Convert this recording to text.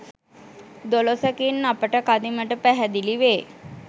දොළොසකින් අපට කදිමට පැහැදිලි වේ.